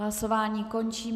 Hlasování končím.